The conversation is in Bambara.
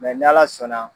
ni ala sɔnna